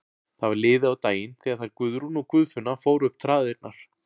Það var liðið á daginn þegar þær Guðrún og Guðfinna fóru upp traðirnar.